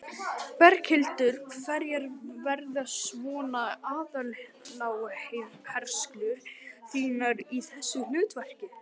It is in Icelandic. Berghildur: Hverjar verða svona aðaláherslur þínar í þessu hlutverki?